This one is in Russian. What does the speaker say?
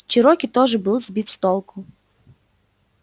чероки тоже был сбит с толку